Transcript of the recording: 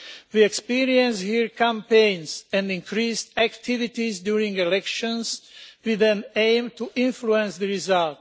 We experience here campaigns and increased activities during elections with the aim to influence the result.